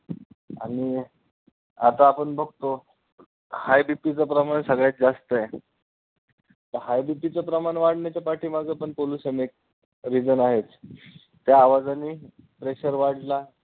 आणि आता आपण बघतो, highBP चं प्रमाण सगळ्यात जास्त आहे तर highBP चं प्रमाण वाढण्याच्या पाठी मागं पण pollution एक reason आहेत त्या आवाजाने pressure वाढला.